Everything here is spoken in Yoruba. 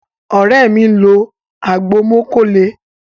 Ore mi nlọ agbo mókó lè.